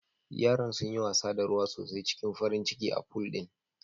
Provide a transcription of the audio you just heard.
Yaran sunyi wasa da ruwa sosai cikin farin ciki a pool din